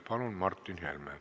Palun, Martin Helme!